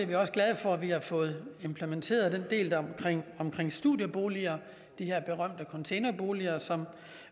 vi også glade for at vi har fået implementeret delen omkring omkring studieboliger de her berømte containerboliger som